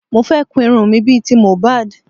Mo fẹ́ kun irun mi bí i ti MOHBAD